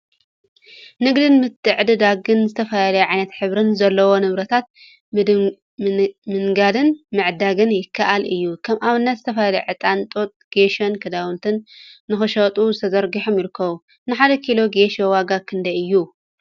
ንግድን ምትዕድዳግን ዝተፈላለዩ ዓይነትን ሕብሪን ዘለዎም ንብረታት ምንጋድን ምዕዳግን ይከአል እዩ፡፡ ከም አብነት ዝተፈላለዩ ዕጣን፣ ጡጥ፣ ጌሾን ክዳውንቲን ንክሽየጡ ተዘርጊሖም ይርከቡ፡፡ ንሓደ ኪሎ ጌሾ ዋጋ ክንደይ እዩ?